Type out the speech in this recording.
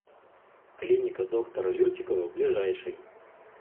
клиника доктора лютикова ближайший